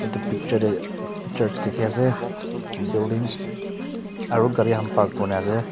etu picture te church dikhi ase building aru gari khan park kurina ase.